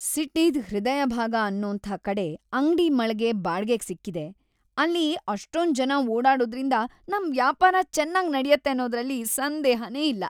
ಸಿಟಿದ್‌ ಹೃದಯಭಾಗ ಅನ್ನೋಂಥ ಕಡೆ ಅಂಗ್ಡಿ ಮಳ್ಗೆ ಬಾಡ್ಗೆಗ್‌ ಸಿಕ್ಕಿದೆ, ಅಲ್ಲಿ ಅಷ್ಟೊಂದ್‌ ಜನ ಓಡಾಡೋದ್ರಿಂದ ನಮ್‌ ವ್ಯಾಪಾರ ಚೆನ್ನಾಗ್‌ ನಡ್ಯತ್ತೆ ಅನ್ನೋದ್ರಲ್ಲಿ ಸಂದೇಹನೇ ಇಲ್ಲ.